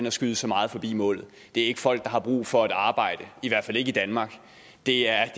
at skyde så meget forbi målet det er ikke folk der har brug for et arbejde i hvert fald ikke i danmark det er